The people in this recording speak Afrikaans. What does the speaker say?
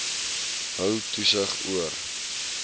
hou toesig oor